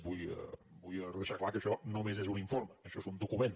vull deixar clar que això només és un informe això és un document